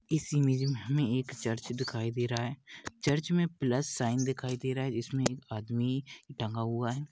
इस इमेज मे हमे एक चर्च दिखाई दे रहा है चर्च मे प्लस साइन दिखाई दे रहा है जिसमे एक आदमी टंगा हुआ है।